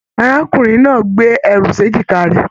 Arákùnrin náà gbé ẹrù s'ejika rẹ.